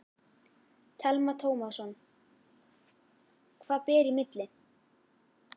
Telma Tómasson: Hvað ber í milli?